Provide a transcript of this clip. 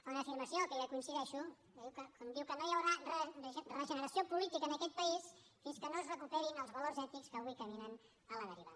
fa una afirmació que jo hi coincideixo quan diu que no hi haurà regeneració política en aquest país fins que no es recuperin els valors ètics que avui caminen a la deriva